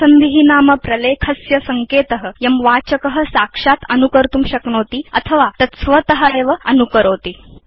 परिसन्धि नाम प्रलेखस्य सङ्केत यं वाचक साक्षात् अनुकर्तुं शक्नोति अथवा तत् स्वत एव अनुकरोति